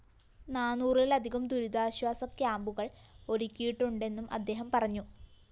നാനൂറിലധികം ദുരിതാശ്വാസ ക്യാമ്പുകള്‍ ഒരുക്കിയിട്ടുണ്ടെന്നും അദ്ദേഹം പറഞ്ഞു